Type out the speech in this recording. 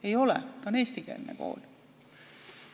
Ei ole, ta on eestikeelne kool.